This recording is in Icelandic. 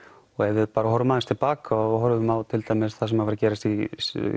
og ef við horfum aðeins til baka og horfum á til dæmis það sem var að gerast í